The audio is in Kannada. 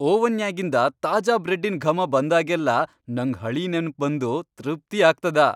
ಓವನ್ಯಾಗಿಂದ ತಾಜಾ ಬ್ರೆಡ್ಡಿನ್ ಘಮ ಬಂದಾಗೆಲ್ಲ ನಂಗ್ ಹಳೀ ನೆನಪ್ ಬಂದು ತೃಪ್ತಿ ಆಗ್ತದ.